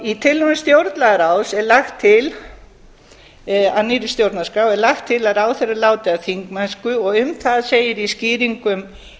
í tillögum stjórnlagaráðs að nýrri stjórnarskrá er lagt til að ráðherrar láti af þingmennsku og um það segir í skýringum